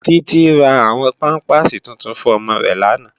Titi rá áwòn pàmpásí túntún fún òmò rè làná